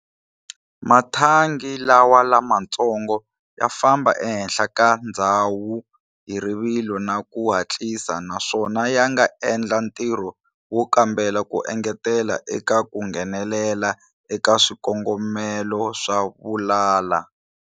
Mathangi lawa lamantsongo ya famba ehenhla ka ndzhawu hi rivilo na ku hatlisa naswona yanga endla ntirho wo kambela ku engetela eka ku nghenelela eka swikongomelo swa vulala.